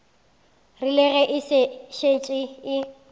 rile ge e šetše e